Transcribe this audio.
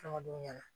ɲɛna